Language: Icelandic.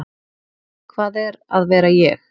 Hvað er að vera ég?